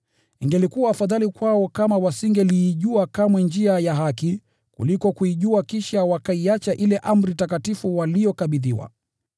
Ingelikuwa afadhali kwao kama wasingeliijua kamwe njia ya haki, kuliko kuijua kisha wakaiacha ile amri takatifu waliyokabidhiwa.